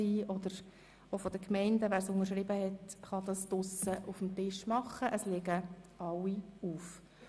Wie erwähnt, liegen alle Petitionen auf dem Tisch in der Wandelhalle auf.